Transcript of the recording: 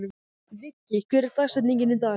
Viggi, hver er dagsetningin í dag?